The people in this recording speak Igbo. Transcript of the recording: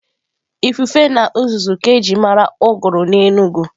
Ifufe na uzuzu ji mara uguru n'Enugwu.